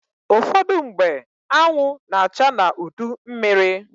Ụfọdụmgbe, anwụ na-acha n'udu mmịrị.